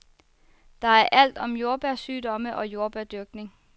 Der er alt om jordbærsygdomme og jordbærdyrkning.